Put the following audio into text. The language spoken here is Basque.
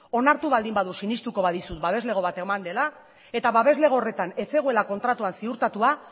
onartu baldin badu sinestuko badizut babeslego bat eman dela eta babeslego horretan ez zegoela kontratuan ziurtatua